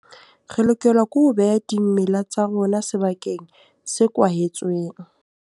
Re lokela ke ho beha dimela tsa rona sebakeng se kwahetsweng.